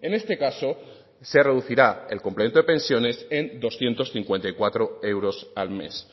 en este caso se reducirá el complemento de pensiones en doscientos cincuenta y cuatro euros al mes